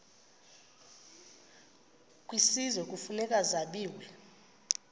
kwisizwe kufuneka zabiwe